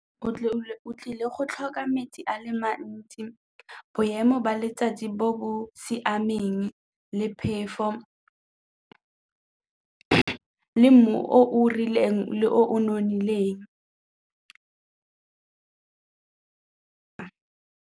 O tlile go tlhoka metsi a le mantsi, boemo ba letsatsi bo bo siameng le phefo le mmu o o rileng o nonofileng.